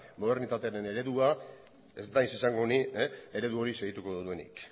modernitatearen eredua ez naiz izango ni eredu hori segituko duenik